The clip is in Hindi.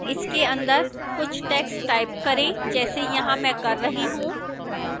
इसके अंदर कुछ text type करें जैसे यहां मैं कर रही हूं